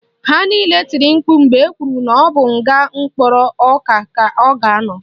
Ha niile tiri mkpu mgbe ekwuru na ọ bụ nga mkpụrụ ọka ka ọ ga-anọ